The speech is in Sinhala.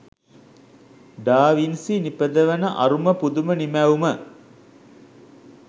ඩා වින්සි නිපදවන අරුම පුදුම නිමැවුම